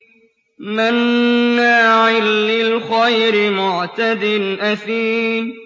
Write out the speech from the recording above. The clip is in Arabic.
مَّنَّاعٍ لِّلْخَيْرِ مُعْتَدٍ أَثِيمٍ